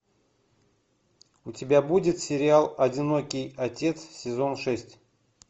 у тебя будет сериал одинокий отец сезон шесть